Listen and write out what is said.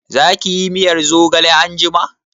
Za ki yi miyar zogale anjima?